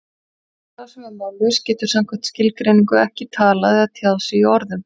Sá sem er mállaus getur samkvæmt skilgreiningu ekki talað eða tjáð sig í orðum.